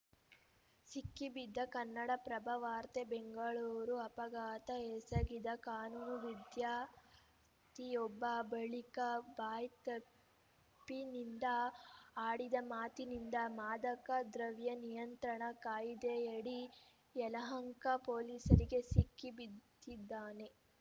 ಸಿಕ್ಕಿಬಿದ್ದ ಕನ್ನಡಪ್ರಭ ವಾರ್ತೆ ಬೆಂಗಳೂರು ಅಪಘಾತ ಎಸಗಿದ ಕಾನೂನು ವಿದ್ಯಾರ್ಥಿಯೊಬ್ಬ ಬಳಿಕ ಬಾಯ್ತಿಪ್ಪಿನಿಂದ ಆಡಿದ ಮಾತಿನಿಂದ ಮಾದಕ ದ್ರವ್ಯ ನಿಯಂತ್ರಣ ಕಾಯ್ದೆಯಡಿ ಯಲಹಂಕ ಪೊಲೀಸರಿಗೆ ಸಿಕ್ಕಿ ಬಿದಿದ್ದಾನೆ